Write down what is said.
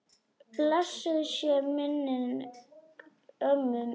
Blessuð sé minning ömmu Ninnu.